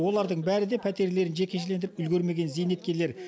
олардың бәрі пәтерлерін жекешелендіріп үлгермеген зейнеткерлер